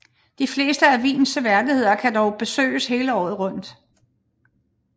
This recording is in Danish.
De fleste af Wiens seværdigheder kan dog besøges hele året rundt